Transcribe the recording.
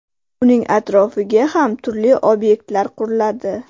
Uning atrofiga ham turli obyektlar quriladi.